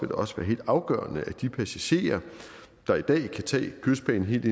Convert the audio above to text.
det også være helt afgørende at de passagerer der i dag kan tage kystbanen helt